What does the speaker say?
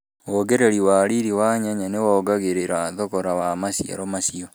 Wongereri wa riri wa nyanya nĩ wongagĩrĩra thogora wa maciaro macio